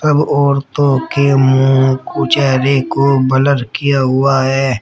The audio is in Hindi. सब औरतों के मुंह को चेहरे को ब्लर किया हुआ है।